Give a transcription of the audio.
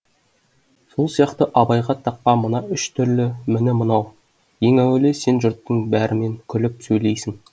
сол сияқты абайға таққан мына үш түрлі міні мынау ең әуелі сен жұрттың бәрімен күліп сөйлейсің